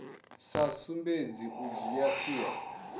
sa sumbedzi u dzhia sia